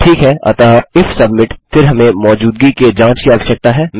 ठीक है अतः इफ सबमिट फिर हमें मौजूदगी के जाँच की आवश्यकता है